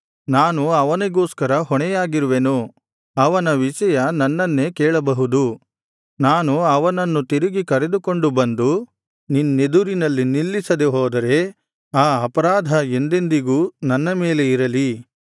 ನಾನು ಅವನಿಗೋಸ್ಕರ ಹೊಣೆಯಾಗಿರುವೆನು ಅವನ ವಿಷಯ ನನ್ನನ್ನೇ ಕೇಳಬಹುದು ನಾನು ಅವನನ್ನು ತಿರುಗಿ ಕರೆದುಕೊಂಡು ಬಂದು ನಿನ್ನೆದುರಿನಲ್ಲಿ ನಿಲ್ಲಿಸದೆ ಹೋದರೆ ಆ ಅಪರಾಧ ಎಂದೆಂದಿಗೂ ನನ್ನ ಮೇಲೆ ಇರಲಿ